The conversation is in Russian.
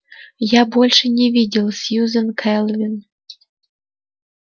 я больше не видел сьюзен кэлвин